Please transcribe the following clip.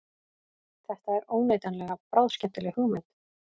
Þetta er óneitanlega bráðskemmtileg hugmynd